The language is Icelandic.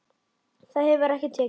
Það hefur ekki tekist.